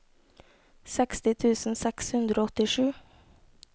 seksti tusen seks hundre og åttisju